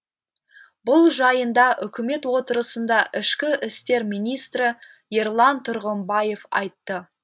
бұл жайында үкімет отырысында ішкі істер министрі ерлан тұрғымбаев айтты